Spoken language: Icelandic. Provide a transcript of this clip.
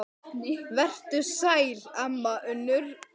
Vertu sæl, amma Unnur.